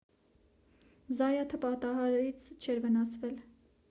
զայաթը պատահարից չէր վնասվել